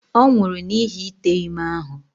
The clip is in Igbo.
Ọ nwụrụ n'ihi ite ime ahụ.